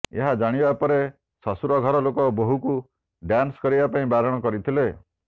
ଏହା ଜାଣିବା ପରେ ଶ୍ୱଶୁର ଘର ଲୋକ ବୋହୂକୁ ଡାନ୍ସ କରିବା ପାଇଁ ବାରଣ କରିଥିଲେ